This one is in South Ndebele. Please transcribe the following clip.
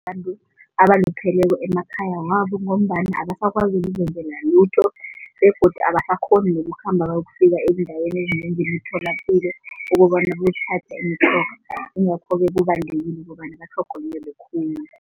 Abantu abalupheleko emakhaya wabo ngombana abasakwazi ukuzenzela lutho begodu abasakghoni nokukhamba bayokufika ezindaweni ezinengi emitholapilo ukobana bokuthatha imitjhoga ingakho-ke kubalulekile ukobana batlhogonyelwe khulu.